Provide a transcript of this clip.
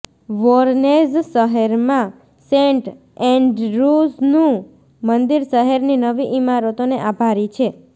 Voronezh શહેરમાં saint એન્ડ્રુનું મંદિર શહેરની નવી ઇમારતોને આભારી છે